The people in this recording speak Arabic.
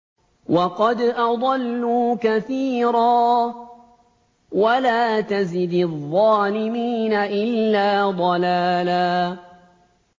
وَقَدْ أَضَلُّوا كَثِيرًا ۖ وَلَا تَزِدِ الظَّالِمِينَ إِلَّا ضَلَالًا